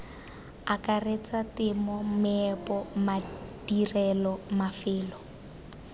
akaretsa temo meepo madirelo mafelo